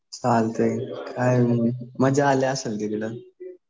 चालतंय. काय मग मजा अली असेल तिकडं.